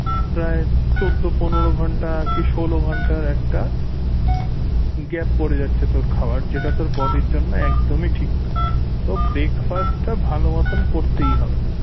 তা চৌদ্দ পনেরো ঘন্টা কি ষোলো ঘন্টার একটা gap পরে যাচ্ছে তোর খাওয়ার যেটা তোর body এর জন্য একদমই ঠিক না তো breakfast টা ভালো মতন করতেই হবে